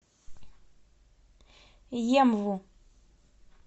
емву